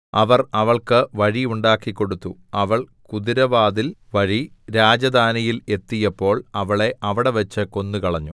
അവർ അവൾക്ക് വഴി ഉണ്ടാക്കിക്കൊടുത്തു അവൾ കുതിരവാതിൽ വഴി രാജധാനിയിൽ എത്തിയപ്പോൾ അവളെ അവിടെവെച്ച് കൊന്നുകളഞ്ഞു